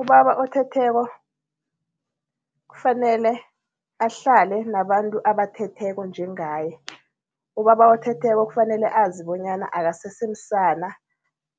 Ubaba othetheko, kufanele ahlale nabantu abathetheko njengaye. Ubaba othetheko kufanele azi bonyana akasese msana